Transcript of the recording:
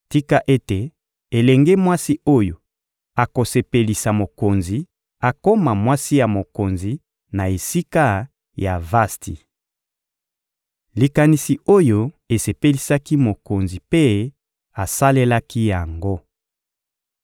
Tika ete elenge mwasi oyo akosepelisa mokonzi akoma mwasi ya mokonzi na esika ya Vasti. Likanisi oyo esepelisaki mokonzi mpe asalelaki yango.